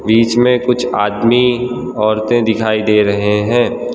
बीच में कुछ आदमी औरतें दिखाई दे रहे हैं।